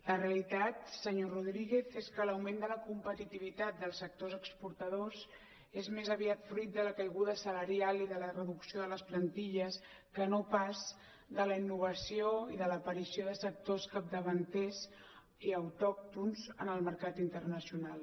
la realitat senyor rodríguez és que l’augment de la competitivitat dels sectors exportadors és més aviat fruit de la caiguda salarial i de la reducció de les plantilles que no pas de la innovació i de l’aparició de sectors capdavanters i autòctons en el mercat internacional